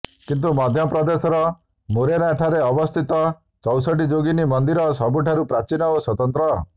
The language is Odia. କିନ୍ତୁ ମଧ୍ୟ ପ୍ରଦେଶର ମୁରେନା ଠାରେ ଅବସ୍ଥିତ ଚୌଷଠି ଯୋଗିନୀ ମନ୍ଦିର ସବୁଠୁ ପ୍ରାଚୀନ ଓ ସ୍ୱତନ୍ତ୍ର